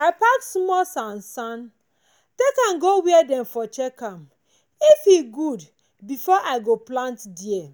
i pack smoll san san take am go where dem for check am well if e good befor i go plant dere